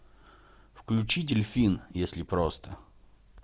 включи дельфин если просто